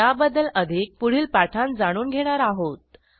याबद्दल अधिक पुढील पाठांत जाणून घेणार आहोत